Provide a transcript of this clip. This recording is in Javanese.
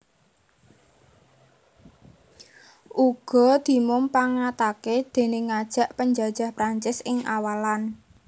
Uga dimumpangatake déning ngajak panjajah Prancis ing awalan